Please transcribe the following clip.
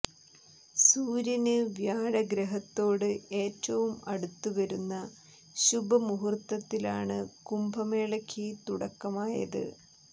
സൂര്യന് വ്യാഴഗ്രഹത്തോട് ഏറ്റവും അടുത്തുവരുന്ന ശുഭ മുഹൂര്ത്തത്തിലാണ് കുംഭ മേളക്ക് തുടക്കമായത്